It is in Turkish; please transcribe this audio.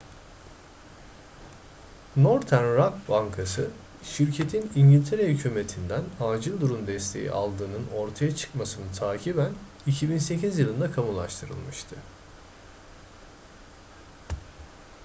northern rock bankası şirketin i̇ngiltere hükümeti'nden acil durum desteği aldığının ortaya çıkmasını takiben 2008 yılında kamulaştırılmıştı